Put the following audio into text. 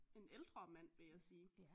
En ældre mand vil jeg sige